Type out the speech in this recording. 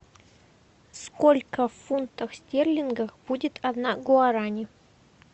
сколько в фунтах стерлингов будет одна гуарани